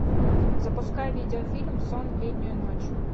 запускай видеофильм сон в летнюю ночь